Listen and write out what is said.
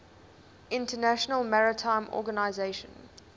international maritime organization